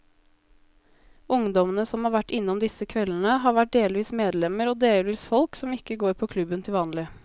Ungdommene som har vært innom disse kveldene, har vært delvis medlemmer og delvis folk som ikke går på klubben til vanlig.